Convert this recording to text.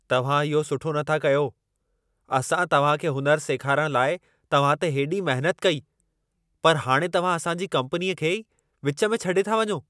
तव्हां इहो सुठो नथा कयो! असां तव्हां खे हुनुर सेखारण लाइ तव्हां ते हेॾी महिनत कई, पर हाणे तव्हां असां जी कम्पनीअ खे ई विच में छॾे था वञो।